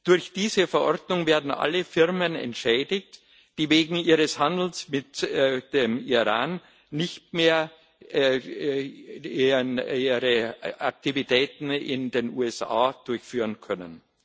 Durch diese Verordnung werden alle Firmen entschädigt, die wegen ihres Handels mit dem Iran ihre Aktivitäten in den USA nicht mehr durchführen können.